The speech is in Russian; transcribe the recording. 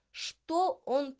что он